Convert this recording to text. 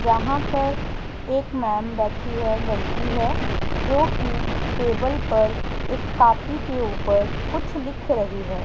यहां पर एक मेम बैठी है लड़की है जो की टेबल पर एक कॉपी के ऊपर कुछ लिख रही है।